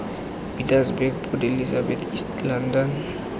pietersburg port elizabeth east london